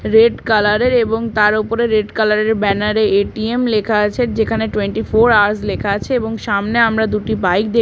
red colour - এর এবং তার ওপরে রেড কালার - এর ব্যানার - এ এ.টি.এম লেখা আছে যেখানে টুয়েন্টি ফোর আওয়ারস লেখা আছে এবং সামনে আমরা দুটি বাইক দেখ--